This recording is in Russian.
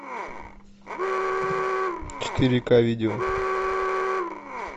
четыре ка видео